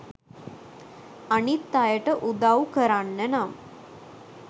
අනිත් අයට උදවු කරන්න නම්